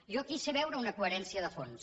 jo aquí sé veure una coherència de fons